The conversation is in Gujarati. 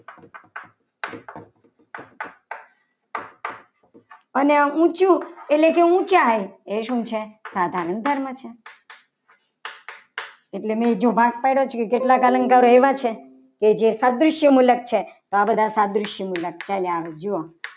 અને આ ઊંચું એટલે કે ઊંચાઈ એ આ એ શું છે. સાધારણ ધર્મ છે. એટલે મેં જો ભાગ પાડે છે. એમાં કેટલા અલંકારો એવા છે. કે જે રાજય મુલક છે. આ બધા ત્રાદશીય મુલક છે જુઓ